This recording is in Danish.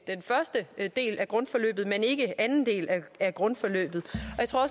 den første del af grundforløbet men ikke anden del af grundforløbet jeg tror